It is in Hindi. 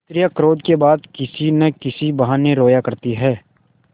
स्त्रियॉँ क्रोध के बाद किसी न किसी बहाने रोया करती हैं